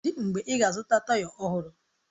Kedụ mgbe ị ga-azụta taya ọhụrụ?